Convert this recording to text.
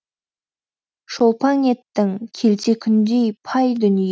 шолпаң еттің келте күндей пай дүние